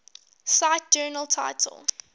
cite journal title